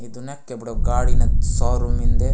ईडुनेक केबडो गाड़ी न सौर मिन्दे।